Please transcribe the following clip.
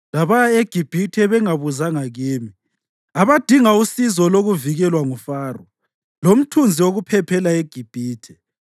labaya eGibhithe bengabuzanga kimi; abadinga usizo lokuvikelwa nguFaro, lomthunzi wokuphephela eGibhithe.